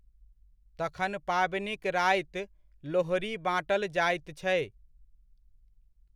तखन पाबनिक राति लोहड़ी बाँटल जाइत छै।